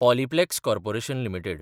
Polyplex corporation limited